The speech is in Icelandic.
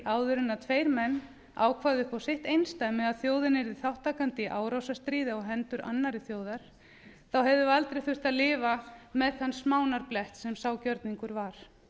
áður en tveir menn ákváðu upp á sitt einsdæmi að þjóðin yrði þátttakandi í árásarstríði á hendur annarri þjóð hefðum við aldrei þurft að lifa með þann smánarblett sem sá gjörningur var